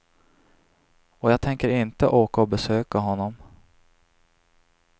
Och jag tänker inte åka och besöka honom.